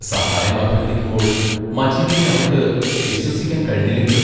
സഹായം അഭ്യർത്ഥിക്കുമ്പോൾ മജീദിനെ അവർക്ക് വിശ്വസിക്കാൻ കഴിഞ്ഞില്ലെങ്കിലോ?